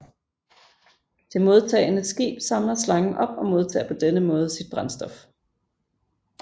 Det modtagende skib samler slangen op og modtager på denne måde sit brændstof